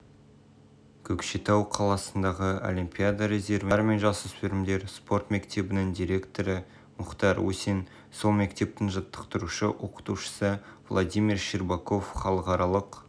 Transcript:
көкшетау қаласындағы олимпиада резервіне мамандандырылған балалар мен жасөспірімдер спорт мектебінің директоры мұхтар усин сол мектептің жаттықтырушы-оқытушысы владимир щербаков халықаралық